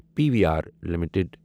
P we are limited